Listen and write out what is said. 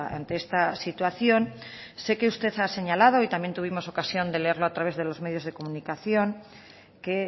ante esta situación sé que usted ha señalado y también tuvimos ocasión de leerlo a través de los medios de comunicación que